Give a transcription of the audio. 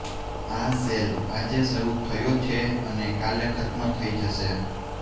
આ સેલ આજે શરૂ થયો છે અને કાલે ખત્મ થઈ જશે